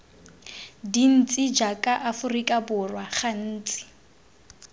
dintsi jaaka aforika borwa gantsi